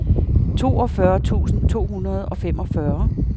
toogfyrre tusind to hundrede og femogfyrre